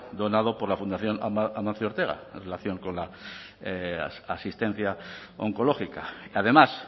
donado por la fundación amancio ortega en relación con la asistencia oncológica además